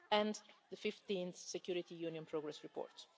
and the 15 Security Union progress reports.